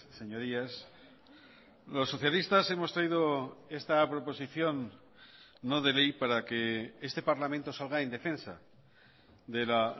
señorías los socialistas hemos traído esta proposición no de ley para que este parlamento salga indefensa de la